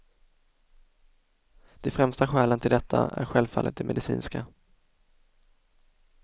De främsta skälen till detta är självfallet de medicinska.